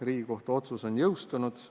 Riigikohtu otsus on jõustunud.